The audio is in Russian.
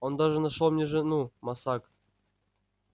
он даже нашёл мне жену мосаг